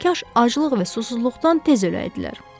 Kaş aclıq və susuzluqdan tez öləydilər.